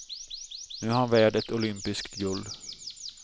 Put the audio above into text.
Nu är han värd ett olympiskt guld.